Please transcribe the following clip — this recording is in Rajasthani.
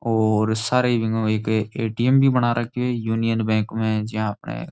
और सारे बिंगै मा एक ए.टी.एम भी बना राख्यो है यूनियन बैंक मै जियाँ आपने।